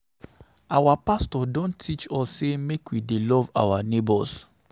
Our pastor don teach us sey make we dey love our nebors.